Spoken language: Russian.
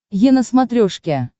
е на смотрешке